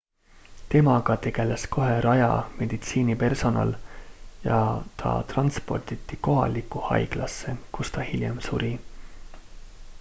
temaga tegeles kohe raja meditsiinipersonal ja ta transporditi kohalikku haiglasse kus ta hiljem suri